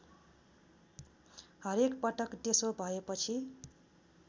हरेकपटक त्यसो भएपछि